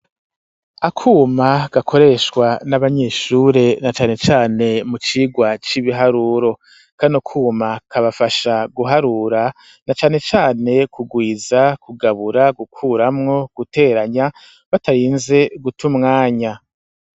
Akuma gakoreshwa n'abanyeshure, na cane cane mu cigwa c'ibiharuro, kano kuma kabafasha guharura na cane cane kugwiza, kugabura, gukuramwo, guteranya, batarinze guta umwanya.